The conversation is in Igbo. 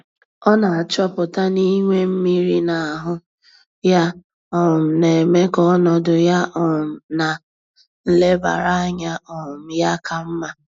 Ọ na-achọpụta na inwe mmiri na ahụ ya, um na-eme ka ọnọdụ ya um na nlebara anya um ya ka mma.